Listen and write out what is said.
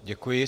Děkuji.